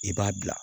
I b'a bila